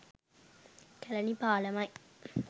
''Kelani පාලම''යි.